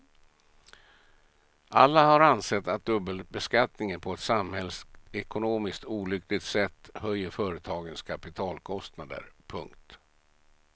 Alla har ansett att dubbelbeskattningen på ett samhällsekonomiskt olyckligt sätt höjer företagens kapitalkostnader. punkt